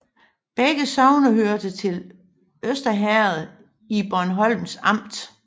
Begge sogne hørte til Øster Herred i Bornholms Amt